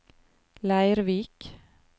Leirvik